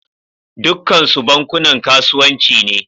Dukkansu bankunan kasuwanci ne